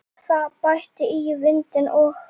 Það bætti í vindinn og